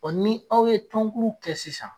Ɔ ni aw ye tonkulu kɛ sisan.